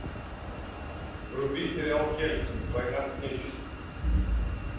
вруби сериал хельсинг война с нечистью